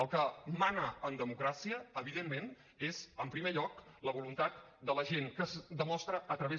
el que mana en democràcia evidentment és en primer lloc la voluntat de la gent que es demostra a través